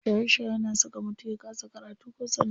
Shaye shaye na saka mutum ya kasa karatu ko sana'a.